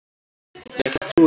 Ég ætla að trúa því.